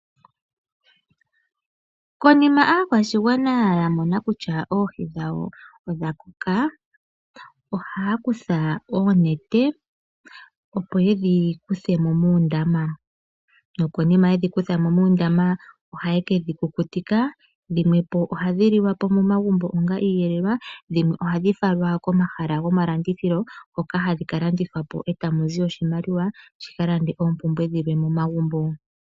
Konima aakwashigwana ya mona kutya oohi dhawo odha koka ohaya kutha oonete, opo yedhi kuthe mo moondama. Nokonima yedhi kutha mo ohaye kedhi kukutika dhimwe ohadhi liwa momagumbo onga iiyelelwa omanga dhimwe ohadhi falwa komahala gomalandithilo hoka hadhi ka landithwa po tamu zi oshimaliwa shi ka lande oompumbwe dhimwe momagumbo.